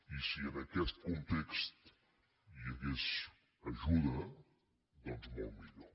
i si en aquest context hi hagués ajuda doncs molt millor